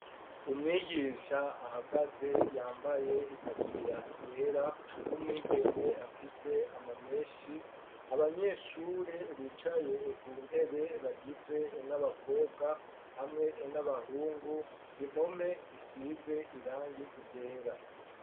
Umwigisha ahagaze yambaye itaburiya yera w'umwigeme afise ama meshi abanyeshure bicaye ku ntebe bagizwe n'abakobwa hamwe n'abahungu impome zisize irangi ryera.